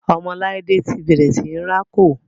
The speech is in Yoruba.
ọmọ laide ti bẹrẹ sìn rá kò.